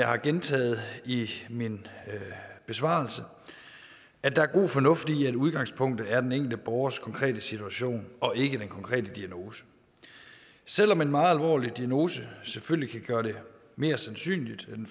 har gentaget i min besvarelse at der er god fornuft i at udgangspunktet er den enkelte borgers konkrete situation og ikke den konkrete diagnose selv om en meget alvorlig diagnose selvfølgelig kan gøre det mere sandsynligt at en